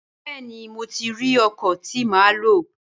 Bẹẹni mo ti ri ọkọ ti má lo